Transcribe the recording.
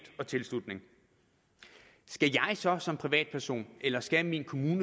og tilslutning skal jeg så som privatperson eller skal min kommune